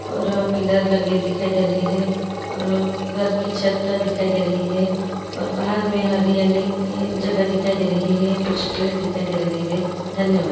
और पिलर लगे दिखाई दे रहे है और घर के छत दिखाई दे रहे है और बाहर में हरी-हरी जगह दिखाई दे रही है कुछ पेड़ दिखाई दे रहे है धन्यवाद।